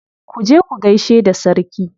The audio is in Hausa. Ku je ku gaishe da sarki.